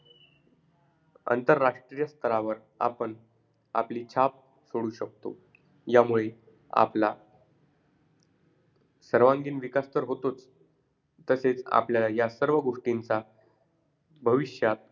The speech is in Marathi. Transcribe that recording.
अंतरराष्ट्रीय स्थरावर आपण आपली छाप सोडू शकतो. यामुळे, आपला सर्वांगीण विकास तर होतोच, तसेच आपल्याला या सर्व गोष्टींचा भविष्यात,